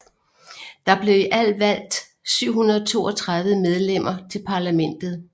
Der blev i alt valgt 732 medlemmer til parlamentet